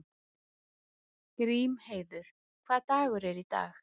Grímheiður, hvaða dagur er í dag?